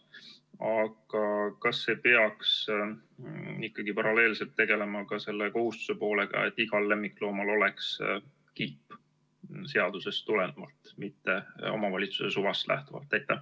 Aga kas ei peaks ikkagi paralleelselt tegelema ka selle kohustuse poolega, et igal lemmikloomal oleks kiip seadusest tulenevalt, mitte omavalitsuse suvast lähtuvalt?